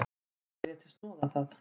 Eða léti snoða það.